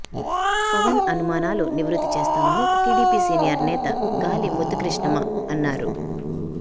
పవన్ అనుమానాలు నివృత్తి చేస్తామని టీడీపీ సీనియర్ నేత గాలి ముద్దుకృష్ణమ అన్నారు